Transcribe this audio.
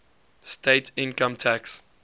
state income tax